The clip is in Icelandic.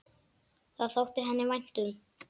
Það þótti henni vænt um.